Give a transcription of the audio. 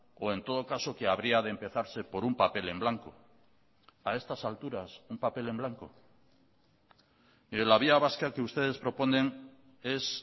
o en todo caso que habría de empezarse por un papel en blanco a estas alturas un papel en blanco mire la vía vasca que ustedes proponen es